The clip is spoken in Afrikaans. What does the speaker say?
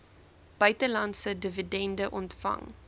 buitelandse dividende ontvang